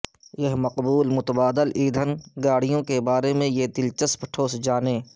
یہ مقبول متبادل ایندھن گاڑیوں کے بارے میں یہ دلچسپ ٹھوس جانیں